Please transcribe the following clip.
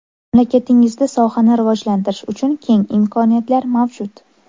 Mamlakatingizda sohani rivojlantirish uchun keng imkoniyatlar mavjud.